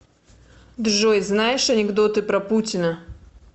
джой знаешь анекдоты про путина